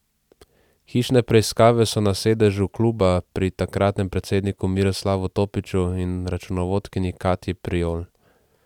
Hišne preiskave so na sedežu kluba, pri takratnem predsedniku Miroslavu Topiću in računovodkinji Katji Prijol.